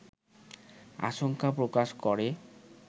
আশঙ্কা প্রকাশ করে